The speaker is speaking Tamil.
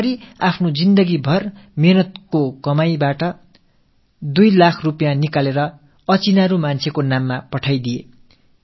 இந்த நபரும் எதைப் பற்றியும் சிந்திக்காமல் தனது வாழ்க்கையில் கஷ்டப்பட்டு சேமித்த 2 இலட்சம் ரூபாயை எடுத்து முகம் பெயர் தெரியாத ஒரு மனிதனுக்கு அனுப்பினார்